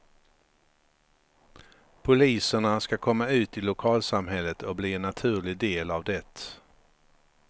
Poliserna ska komma ut i lokalsamhället och bli en naturlig del av det.